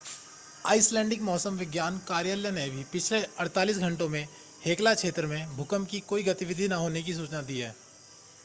Icelandic मौसम विज्ञान कार्यालय ने भी पिछले 48 घंटों में हेक्ला क्षेत्र में भूकंप की कोई गतिविधि न होने की सूचना दी है